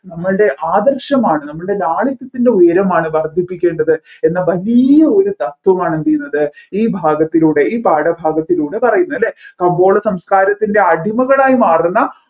നമ്മൾടെ ആദർശമാണ് നമ്മൾടെ ലാളിത്യത്തിൻെറ ഉയരമാണ് വർധിപ്പിക്കേണ്ടത് എന്ന വലിയ ഒരു തത്വമാണ് എന്ത് ചെയ്യുന്നത് ഈ ഭാഗത്തിലൂടെ ഈ പാഠഭാഗത്തിലൂടെ പറയുന്നത് അല്ലെ കമ്പോള സംസ്കാരത്തിൻറെ അടിമകളായി മാറുന്ന